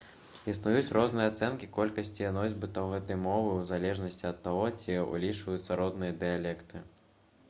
існуюць розныя ацэнкі колькасці носьбітаў гэтай мовы у залежнасці ад таго ці ўлічваюцца роднасныя дыялекты